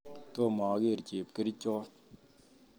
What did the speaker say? Tom ager chepkerichot